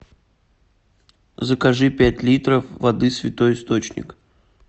закажи пять литров воды святой источник